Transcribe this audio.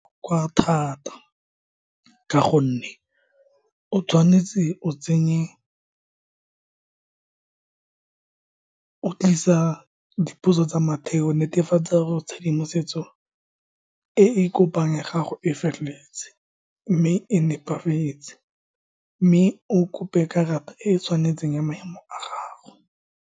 Kwa thata, ka gonne o tshwanetse o tsenye, o tlisa dipotso tsa matheo, netefatsa gore tshedimosetso e e kopang ya gago e feleletse mme e nepagetse, mme o kope karata e e tshwanetseng ya maemo a gago.